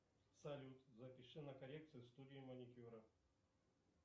салют запиши на коррекцию в студию маникюра